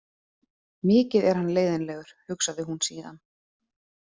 Mikið er hann leiðinlegur, hugsaði hún síðan.